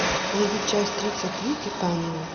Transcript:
найди часть тридцать три титания